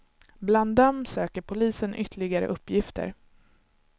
Bland dem söker polisen ytterligare uppgifter.